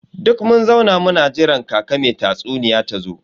Duk mun zauna muna jiran kaka me tatsuniya tazo.